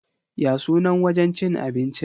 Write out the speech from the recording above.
Ya sunan wajen cin abincin?